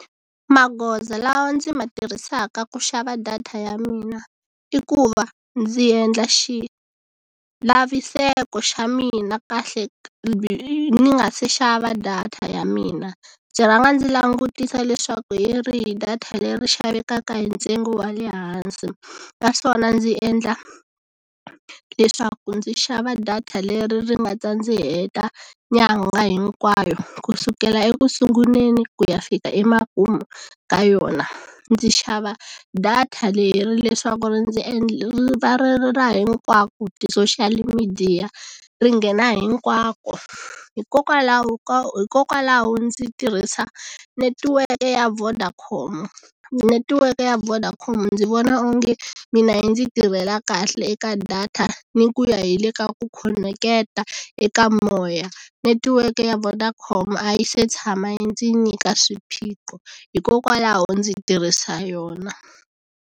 Magoza lawa ndzi ma tirhisaka ku xava data ya mina i ku va ndzi endla xilaviseko xa mina kahle ni nga si xava data ya mina ndzi rhanga ndzi langutisa leswaku hi rihi data leri xavekaka hi ntsengo wa le hansi naswona ndzi endla leswaku ndzi xava data leri ri nga ta ndzi heta nyangha hinkwayo ku sukela ekusunguleni ku ya fika emakumu ka yona ndzi xava data leri leswaku ra hinkwako ti-social midiya ringena hinkwako hikokwalaho ko hikokwalaho ndzi tirhisa netiweke ya Vodacom netiweke ya Vodacom ndzi vona onge mina yi ndzi tirhela kahle eka data ni ku ya hi le ka ku khoneketa eka moya netiweke ya Vodacom a yi se tshama ndzi nyika swiphiqo hikokwalaho ndzi tirhisa yona.